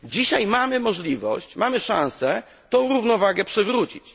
Dzisiaj mamy możliwość, mamy szansę tę równowagę przywrócić.